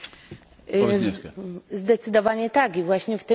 Zdecydowanie tak i właśnie w tym duchu się wypowiadamy.